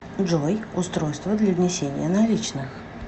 джой устройство для внесения наличных